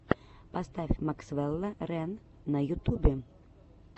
поставь максвелла рэн на ютубе